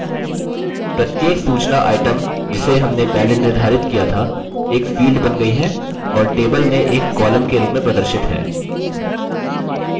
प्रत्येक सूचना item जिसे हमने पहले निर्धारित किया था एक field बन गयी है और table में एक column के रूप में प्रदर्शित है